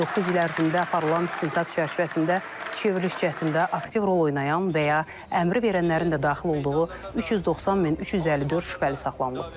Doqquz il ərzində aparılan istintaq çərçivəsində çevriliş cəhdində aktiv rol oynayan və ya əmri verənlərin də daxil olduğu 390354 şübhəli saxlanılıb.